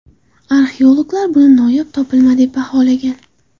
Arxeologlar buni noyob topilma deb baholagan.